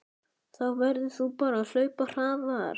Þá verður þú bara að hlaupa hraðar